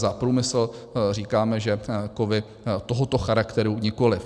Za průmysl říkáme, že kovy tohoto charakteru nikoliv.